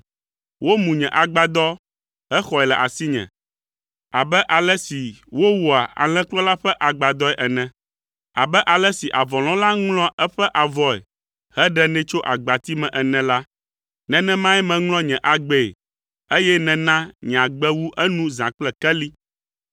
Womu nye agbadɔ hexɔe le asinye abe ale si wowɔa alẽkplɔla ƒe agbadɔe ene. Abe ale si avɔlɔ̃la ŋlɔa eƒe avɔe heɖenɛ tso agbati me ene la, nenemae meŋlɔ nye agbee, eye nèna nye agbe wu enu zã kple keli.